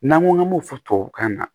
N'an ko an b'o fɔ tubabukan na